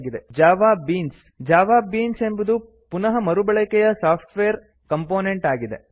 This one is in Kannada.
Java beans Java beans Java beans ಎಂಬುದು ಪುನಃ ಮರುಬಳಕೆಯ ಸಾಫ್ಟ್ವೇರ್ ಕಂಪೋನೆಂಟ್ ಆಗಿದೆ